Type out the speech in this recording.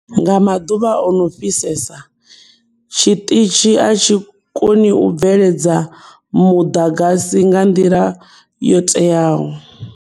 Nga maḓuvha o no fhisesa, tshiṱitshi a tshi koni u bveledza muḓagasi nga nḓila yo teaho.